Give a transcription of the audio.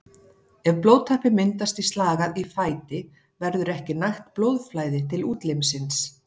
Ef blóðtappi myndast í slagæð í fæti verður ekki nægt blóðflæði til útlimsins.